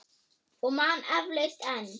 Og man eflaust enn.